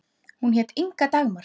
Hún hét Inga Dagmar.